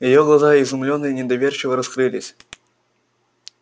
её глаза изумлённо и недоверчиво раскрылись